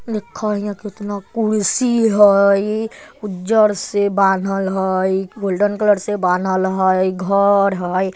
देख इहाँ केतना कुर्सी हई उज्जर से बांधल हई गोल्डन कलर से बानल हई घर हई।